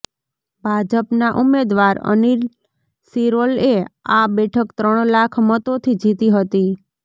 ભાજપનાં ઉમેદવાર અનિલ શિરોલએ આ બેઠક ત્રણ લાખ મતોથી જીતી હતી